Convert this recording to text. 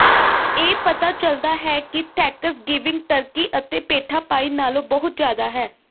ਇਹ ਪਤਾ ਚਲਦਾ ਹੈ ਕਿ ਥੈਂਕਸਗਿਵਿੰਗ ਟਰਕੀ ਅਤੇ ਪੇਠਾ ਪਾਈ ਨਾਲੋਂ ਬਹੁਤ ਜ਼ਿਆਦਾ ਹੈ